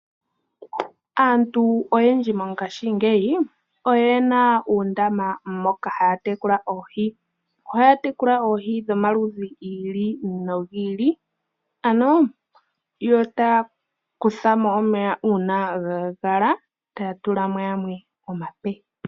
Aantu oyendji ngashingeyi oyena uundama mpka haya tekula oohi. Ohaya tekula oohi dhomaludhi giili nogiili. Ohaya kutha mo omeya ngele ga kala nondoya e taya tula mo galwe.